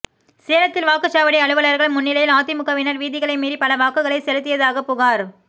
சேலத்தில் வாக்குச்சாவடி அலுவலர்கள் முன்னிலையில் அதிமுகவினர் விதிகளை மீறி பல வாக்குகளை செலுத்தியதாக புகார்